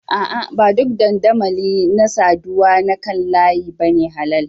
A'a, ba duk dandamali na saduwa da kan layi ba ne halal.